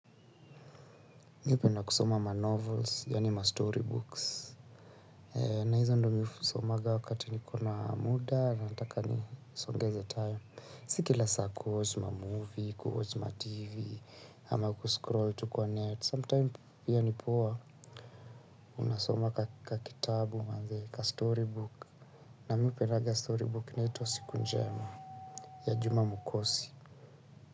Mimi hupenda kusoma ma novels yaani ma story books na hizo ndiyo mimi husomanga wakati niko na muda na nataka nisongeze time si kila saa kuwatch ma movie kuwatch ma tv ama kuscroll tu kwa net sometime pia ni poa unasoma kakitabu manze kastory book na mimi hupendanga story book inaitwa siku njema ya juma mukosi.